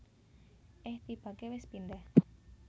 Eh tibake wis pindah